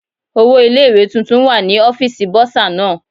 Owó ilé ìwé tuntun wà ní ọ́fíìsì Bọ́sà náà.